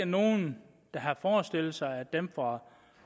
nogen der har forestillet sig at dem fra